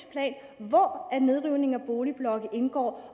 plan hvor nedrivning af boligblokke indgår